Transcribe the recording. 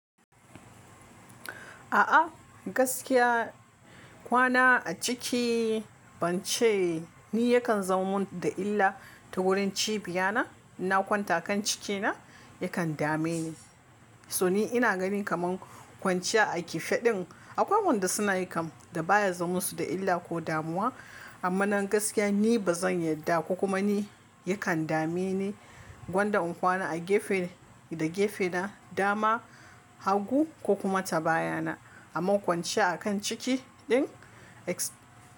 A'a gaskiya kwana a ciki bance ni yakan zama mun da illa ta wurin cibiya na. Na kwanta kan ciki na yakan dame ni. So ni ina ganin kamar kwanciya a kife din akwai wanda suna yi kam da baya zo musu da illa ko damuwa. Amma nan gaskiya ni ba zan yarda ko kuma ni yakan dame ni gwanda in kwana a gefe da gefe na dama hagu ko kuma ta baya na. Amma kwanciya a kan ciki din ex-